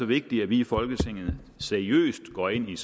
vigtigt at vi i folketinget seriøst går ind i